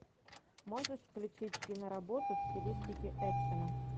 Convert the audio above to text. можешь включить киноработу в стилистике экшена